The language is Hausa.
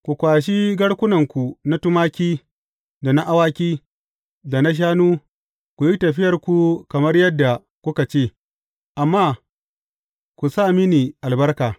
Ku kwashi garkunanku na tumaki da na awaki, da na shanu, ku yi tafiyarku kamar yadda kuka ce, amma ku sa mini albarka.